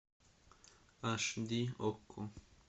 аш ди окко